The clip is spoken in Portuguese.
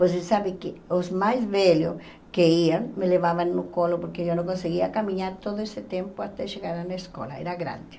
Você sabe que os mais velhos que iam, me levavam no colo porque eu não conseguia caminhar todo esse tempo até chegar lá na escola, era grande.